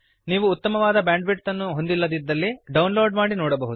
ನೀವು ಉತ್ತಮವಾದ ಬ್ಯಾಂಡ್ವಿಡ್ತ್ ಅನ್ನು ಹೊಂದಿಲ್ಲದಿದ್ದರೆ ಡೌನ್ಲೋಡ್ ಮಾಡಿ ನೋಡಬಹುದು